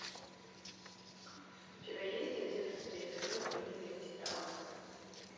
у тебя есть одиннадцатый эпизод юные титаны